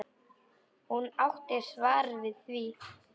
Hún átti svar við því.